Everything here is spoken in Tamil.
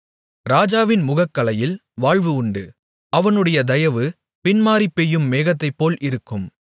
ராஜாவின் முகக்களையில் வாழ்வு உண்டு அவனுடைய தயவு பின்மாரிபெய்யும் மேகத்தைப்போல் இருக்கும்